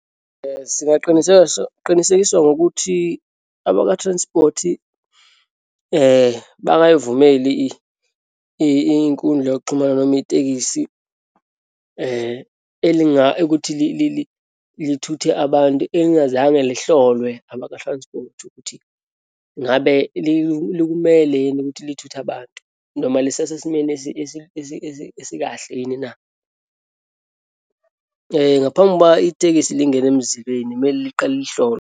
Singaqinisekiswa ngokuthi abaka-transport-i bangayivumeli inkundla yokuxhumana noma itekisi ukuthi lithuthe abantu elingazange lihlolwe abaka-transport, ukuthi ngabe likumele yini ukuthi lithuthe abantu, noma lisesesimeni esikahle yini na. Ngaphambi kokuba itekisi lingena emzimleni, kumele liqale lihlolwe.